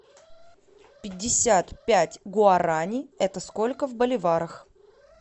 пятьдесят пять гуарани это сколько в боливарах